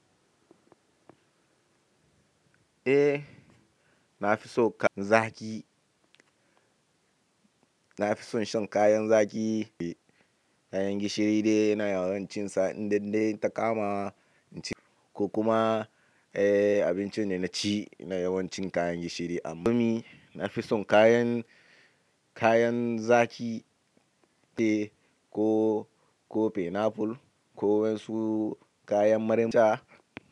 Eh, na fi son zaƙi. Na fi son shan kayan zaƙi, kayan gishiri dai na yawancin sa inda dai ta kama. Ko kuma, eh, abinci ne na ci na yawancin kayan gishiri a gumi. Na fi son kayan, kayan zaƙi eh ko, ko pineapple ko wasu kayan marmari.